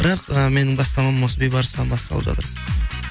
бірақ ы менің бастамам осы бейбарыстан басталып жатыр